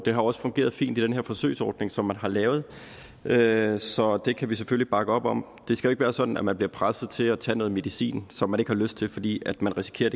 har også fungeret fint i den her forsøgsordning som man har lavet lavet så det kan vi selvfølgelig bakke op om det skal være sådan at man bliver presset til at tage noget medicin som man ikke har lyst til fordi man risikerer